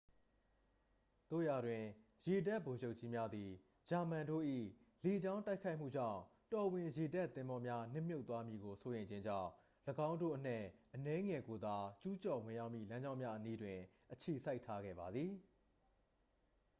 သို့ရာတွင် ရေတပ်ဗိုလ်ချုပ်ကြီးများသည် ဂျာမန်တို့၏လေကြောင်းတိုက်ခိုက်မှုကြောင့် တော်ဝင်ရေတပ်သင်္ဘောများ နစ်မြုပ်သွားမည်ကိုစိုးရိမ်ခြင်းကြောင့် ၎င်းတို့အနက်အနည်းငယ်ကိုသာ ကျူးကျော်ဝင်ရောက်မည့်လမ်းကြောင်းများအနီးတွင် အခြေစိုက်ထားခဲ့ပါသည်